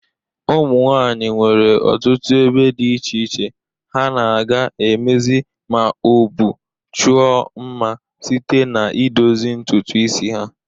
Ụmụnwanyị nwere ọtụtụ ebe dị iche iche ha na-aga emezi ma o bụ chụọ mma site n'idozi ntụtụ isi ha.